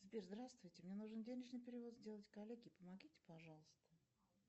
сбер здравствуйте мне нужно денежный перевод сделать коллеге помогите пожалуйста